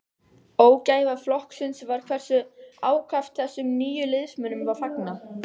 Ógæfa flokksins var hversu ákaft þessum nýju liðsmönnum var fagnað.